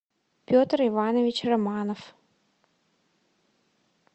петр иванович романов